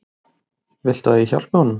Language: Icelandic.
Viltu að ég hjálpi honum?